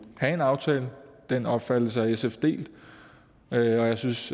have en aftale den opfattelse har sf delt og jeg synes